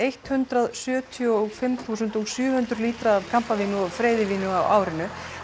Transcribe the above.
hundrað sjötíu og fimm þúsund og sjö hundruð lítra af kampa og freyðivíni á árinu